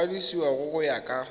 go kwadisiwa go ya ka